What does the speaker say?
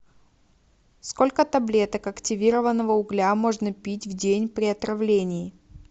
сколько таблеток активированного угля можно пить в день при отравлении